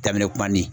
Daminɛ kuma ni